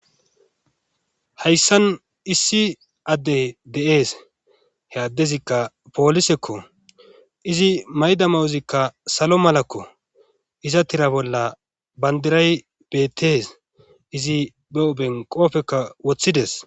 hayssan issi addey de7ees he addezikka poolisekko izi mayda mawuzikka salo malakko iza tira bolla bandiray bettees izi be hophen qopfekka woththides